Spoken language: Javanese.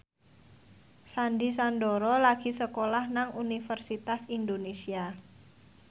Sandy Sandoro lagi sekolah nang Universitas Indonesia